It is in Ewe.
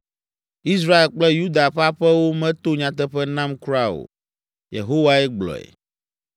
Israel kple Yuda ƒe aƒewo meto nyateƒe nam kura o.” Yehowae gblɔe.